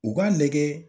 U k'a lajɛ